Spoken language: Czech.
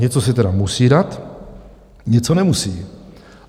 Něco se tedy musí dát, něco nemusí.